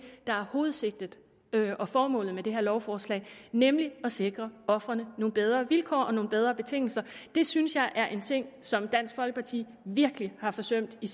der er hovedsigtet og formålet med det her lovforslag nemlig at sikre ofrene nogle bedre vilkår og nogle bedre betingelser det synes jeg er en ting som dansk folkeparti virkelig har forsømt i